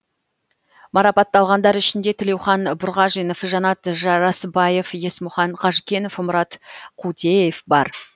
марапатталғандар ішінде тілеухан бұрғажинов жанат жарасбаев есмұхан қажкенов мұрат қутеев бар